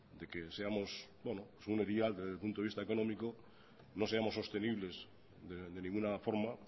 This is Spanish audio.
de que seamos un segundo vial desde el punto de vista económico no seamos sostenibles de ninguna forma